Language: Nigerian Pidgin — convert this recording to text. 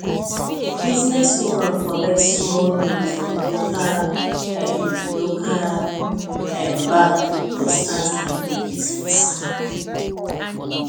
the businesswoman collect small loan from local um local um bank to start her new business